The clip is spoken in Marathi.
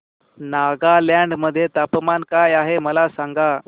नागालँड मध्ये तापमान काय आहे मला सांगा